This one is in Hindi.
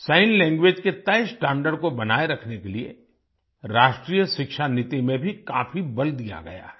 सिग्न लैंग्वेज के तय स्टैंडर्ड को बनाए रखने के लिए राष्ट्रीय शिक्षा नीति में भी काफी बल दिया गया है